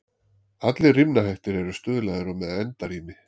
Allir rímnahættir eru stuðlaðir og með endarími.